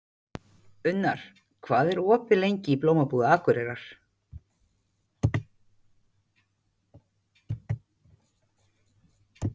Unnar, hvað er opið lengi í Blómabúð Akureyrar?